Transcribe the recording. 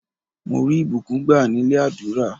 Mo rí ìbùkún gbá nílé àdúrà.